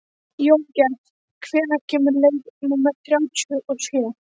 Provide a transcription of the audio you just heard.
Jóngerð, hvenær kemur leið númer þrjátíu og sjö?